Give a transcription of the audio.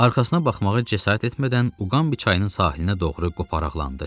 Arxasına baxmağa cəsarət etmədən Uqanbi çayının sahilinə doğru qoparaqlandı.